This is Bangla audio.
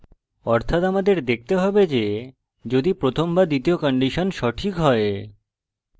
অর্থাৎ আমাদের দেখতে হবে যে যদি প্রথম বা দ্বিতীয় condition সঠিক হয়